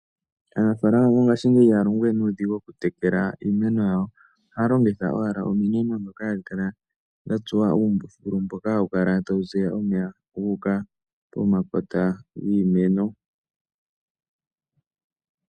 Aanafalama mongashingeyi ihaya longo we nuudhigu okutekela iimeno yawo. Ohaya longitha owala omino ndhoka hadhi kala dha tsuwa uumbululu mboka hawu kala tawu ziya omeya gu uka pomakota giimeno.